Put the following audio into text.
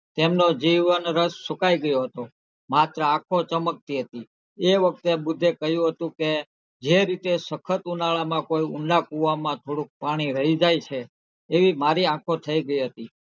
તેમનો જીવવાનો રસ સુકાઈ ગયો હતો માત્ર આંખો ચમકતી હતી એ વખતે બુદ્ધે કહ્યું હતું કે જે રીતે સખત ઉનાળામાં કોઈ ઊંડા કુવામાં થોડુક પાણી રહી જાય છે એવી મારી આંખો થઇ ગયી હતી.